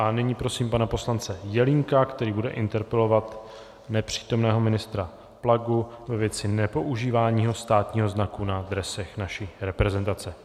A nyní prosím pane poslance Jelínka, který bude interpelovat nepřítomného ministra Plagu ve věci nepoužívání státního znaku na dresech naší reprezentace.